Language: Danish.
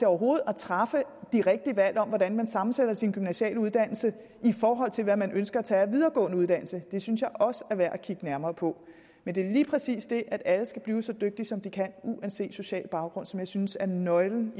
overhovedet at træffe de rigtige valg om hvordan man sammensætter sin gymnasiale uddannelse i forhold til hvad man ønsker at tage af videregående uddannelse det synes jeg også er værd at kigge nærmere på men det er lige præcis det at alle skal blive så dygtige som de kan uanset social baggrund som jeg synes er nøglen